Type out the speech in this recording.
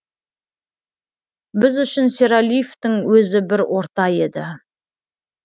біз үшін сералиевтің өзі бір орта еді